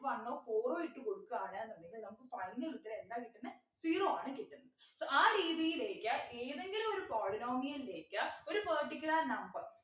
one o four o ഇട്ടു കൊടുക്കാണ് ന്നുണ്ടെങ്കിൽ നമുക്ക് final ഉത്തരം എന്താ കിട്ടുന്നെ zero ആണ് കിട്ടുന്നെ so ആ രീതിയിലേക്ക് ഏതെങ്കിലും ഒരു polynomial ലേക്ക് ഒരു particular number